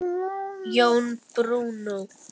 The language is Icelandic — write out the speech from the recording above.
Jón Bruno.